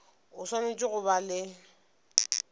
o swanetše go ba le